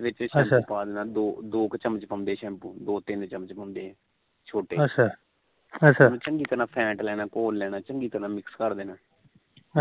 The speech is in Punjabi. ਵਿੱਚ ਸ਼ੈਂਪੂ ਪਾ ਦੇਣਾ ਆ ਦੋ ਤਿੰਨ ਚੱਮਚ ਪਾਂਦੇ ਆ ਚੰਮਚ ਪਾਉਂਦੇ ਛੋਟੇ ਉਹਨੂੰ ਫੈਂਟ ਲੈਣਾ ਘੋਲ ਲੈਣਾ ਚੰਗੀ ਤਰਾ mix ਕਾਰਲੇਨਾ